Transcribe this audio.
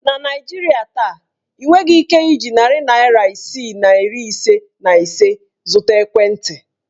Na Naijiria taa, ị nweghị ike iji narị naịra isii na iri ise na ise zụta ekwentị.